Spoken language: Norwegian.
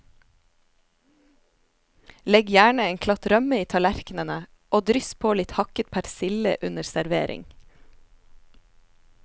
Legg gjerne en klatt rømme i tallerkenene og dryss på litt hakket persille under servering.